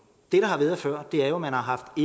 før har man haft